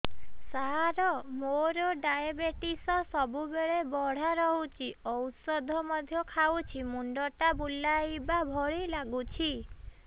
ସାର ମୋର ଡାଏବେଟିସ ସବୁବେଳ ବଢ଼ା ରହୁଛି ଔଷଧ ମଧ୍ୟ ଖାଉଛି ମୁଣ୍ଡ ଟା ବୁଲାଇବା ଭଳି ଲାଗୁଛି